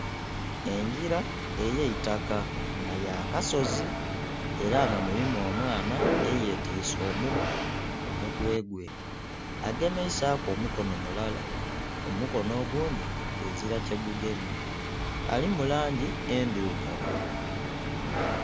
Engira ey'eitaka nga ya kasozi, era nga mulimu omwana eyetiise omugugu ku mutwe gwe. Agemeisaku omukono mulala, omukono ogundhi ezila kyegugemye. Alimu langi endhirugavu.